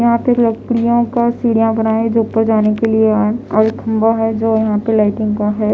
यहाँ परलकड़ियों कासीढिया बनाये जो ऊपर जाने के लिएऔरखंबा हैं जो यहाँ पर लाइटिंग का हैं।